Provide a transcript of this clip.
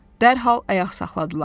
Dərhal ayaq saxladılar.